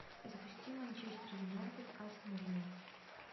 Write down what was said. запусти манчестер юнайтед астон вилла